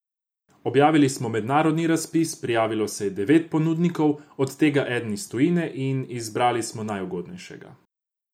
Objavili smo mednarodni razpis, prijavilo se je devet ponudnikov, od tega eden iz tujine, in izbrali smo najugodnejšega.